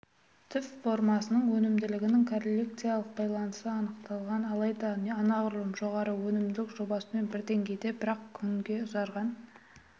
түп формасының өнімділігінің корреляциялық байланысы анықталмаған алайда анағұрлым жоғары өнімділік жобасымен бір деңгейде бірақ күнге ұзарған